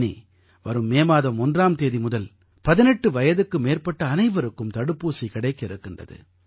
இனி வரும் மே மாதம் 1ஆம் தேதி முதல் 18 வயதுக்கு மேற்பட்ட அனைவருக்கும் தடுப்பூசி கிடைக்க இருக்கின்றது